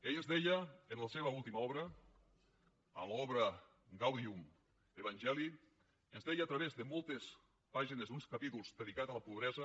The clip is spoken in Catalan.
ell ens deia en la seva última obra en l’obra evangelii gaudium a través de moltes pàgines d’uns capítols dedicats a la pobresa